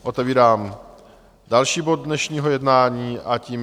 Otevírám další bod dnešního jednání, a to